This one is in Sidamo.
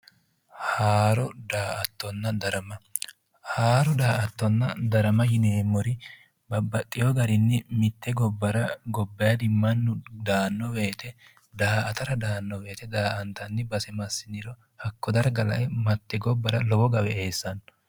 Haaro daa'attonna darama. Haaro daa'attonna darama yineemnori babbaxxitewo garinni mitte gobba gobbayidinni mannu daanno woyite daa'atara daanno manni hajo darga massiniro hakko darga lae lowo gawe eessanno